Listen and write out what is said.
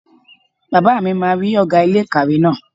Bàbá mi máa rí ọ̀gá ilé ìkàwé náà